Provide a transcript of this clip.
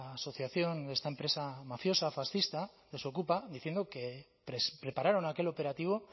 asociación de esta empresa mafiosa fascista desokupa diciendo que prepararon aquel operativo